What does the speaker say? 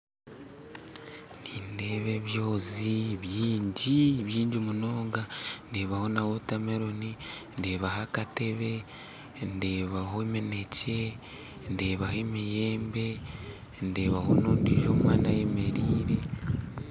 Nindeeba ebyonzi baingi baingi munonga ndeebaho na wotameloni ndeebaho n'akateebe ndeebaho emineekye, emiyembe ndeebaho n'omwana ondiijo ayemereire